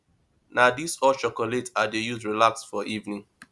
na dis hot chocolate i dey use relax for evening